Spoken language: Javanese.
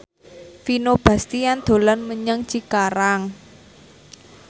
Vino Bastian dolan menyang Cikarang